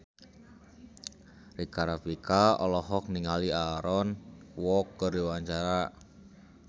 Rika Rafika olohok ningali Aaron Kwok keur diwawancara